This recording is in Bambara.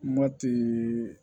Matigi